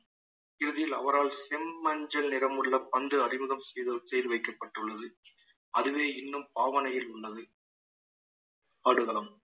இறுதியில் அவரால் செம்மஞ்சள் நிறமுள்ள பந்து அறிமுகம் செய்~ செய்து வைக்கப்பட்டுள்ளது அதுவே இன்னும் ஆவணையில் உள்ளது ஆடுகளம்